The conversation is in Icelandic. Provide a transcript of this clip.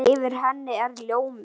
Yfir henni er ljómi.